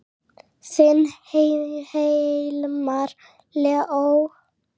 Þinn Hilmar Leó.